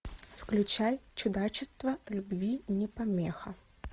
включай чудачество любви не помеха